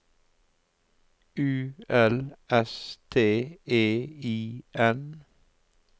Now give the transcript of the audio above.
U L S T E I N